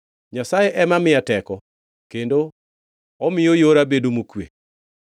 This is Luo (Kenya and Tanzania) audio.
Nyasaye ema miya teko kendo omiyo yora bedo mokwe.